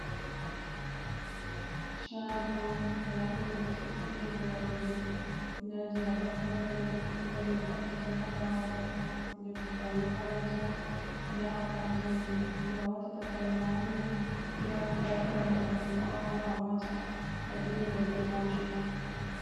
Shago, ndaɗum ɓe ɗo sili boroji, ndaje a wakkata ha juɗe nda je a wakata ha ɓawo, je ɓukkoi makaranta, nda akwatiji je a watata karema ha nder, siga ko a yahan jahagal a wawan a wata adilida be majuum.